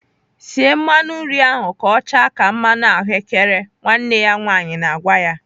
"Sie mmanụ nri ahụ ka ọ chaa ka mmanụ ahụ́kere!" Nwanne ya nwaanyị na-agwa ya.